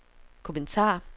kommentar